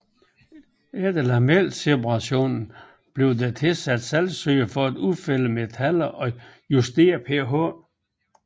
Efter lamelseperatoren bliver der tilsat saltsyre for at udfælde metaller og justere pH